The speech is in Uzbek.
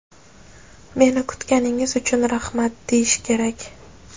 "meni kutganingiz uchun rahmat" deyish kerak.